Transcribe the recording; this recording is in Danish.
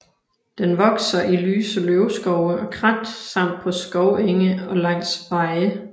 Den vokser i lyse løvskove og krat samt på skovenge og langs veje